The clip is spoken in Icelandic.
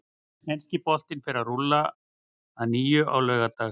Enski boltinn fer að rúlla að nýju á laugardag.